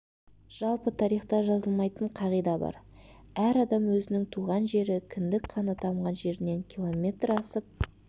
жалпы тарихта жазылмайтын қағида бар әр адам өзінің туған жері кіндік қаны тамған жерінен киллометр асып